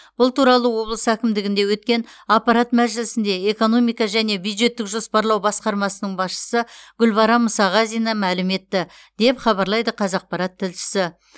бұл туралы облыс әкімдігінде өткен аппарат мәжілісінде экономика және бюджеттік жоспарлау басқармасының басшысы гүлбарам мұсағазина мәлім етті деп хабарлайды қазақпарат тілшісі